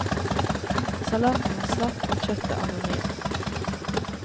Salaten var slapp og kjøttet anonymt.